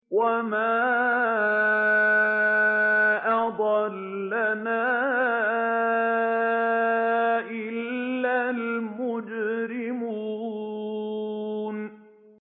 وَمَا أَضَلَّنَا إِلَّا الْمُجْرِمُونَ